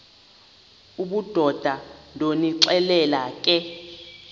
obudoda ndonixelela ke